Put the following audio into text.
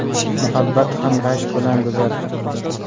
Muhabbat ham rashk bilan go‘zal.